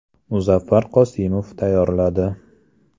Muzaffar Qosimov tayyorladi.